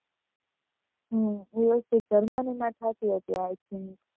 હમ USA Germany માં થાતું હશે i think